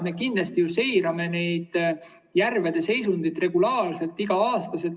Me kindlasti seirame järvede seisundit regulaarselt, iga aasta.